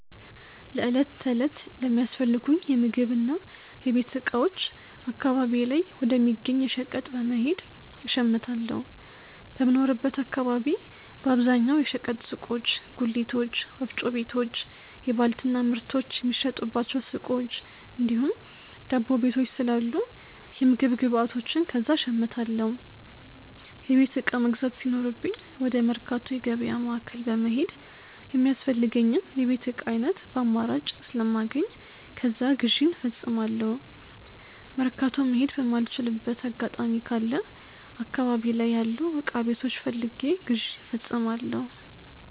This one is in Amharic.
ለእለት ተለት ለሚያስፈልጉኝ የምግብና የቤት እቃዎች አካባቢዬ ላይ ወደ ሚገኝ የሸቀጥ በመሄድ እሸምታለሁ። በምኖርበት አካባቢ በአብዛኛው የሸቀጥ ሱቆች፣ ጉሊቶች፣ ወፍጮ ቤቶች፣ የባልትና ምርቶች የሚሸጡባቸው ሱቆች እንዲሁም ዳቦ ቤቶች ስላሉ የምግብ ግብዓቶችን ከዛ እሸምታለሁ። የቤት እቃ መግዛት ሲኖርብኝ ወደ መርካቶ የገበያ ማዕከል በመሄድ የሚያስፈልገኝን የቤት እቃ ዓይነት በአማራጭ ስለማገኝ ከዛ ግዢን እፈጽሟለሁ። መርካቶ መሄድ የማልችልበት አጋጣሚ ከለ አካባቢ ላይ ያሉ እቃ ቤቶች ፈልጌ ግዢ እፈጽማለሁ።